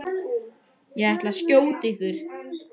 Ég ætla að skjóta ykkur!